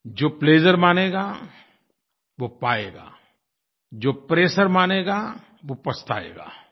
जो प्लेजर मानेगा वो पायेगा जो प्रेशर मानेगा वो पछताएगा